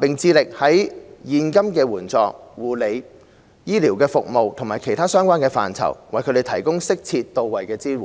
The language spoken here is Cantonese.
並致力在現金援助、護理、醫療服務及其他相關範疇，為他們提供適切到位的支援。